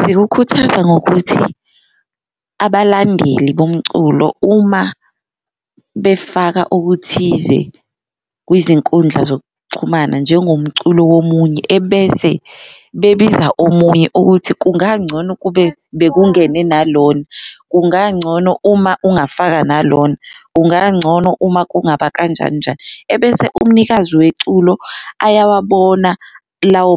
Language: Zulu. Zikukhuthaza ngokuthi abalandeli bomculo uma befaka okuthize kwizinkundla zokuxhumana njengomculo womunye ebese bebiza omunye ukuthi kungangcono ukube bekungene nalona, kungangcono uma ungafaka nalona, kungangcono uma kungaba kanjani njani. Ebese umnikazi weculo ayawabona lawo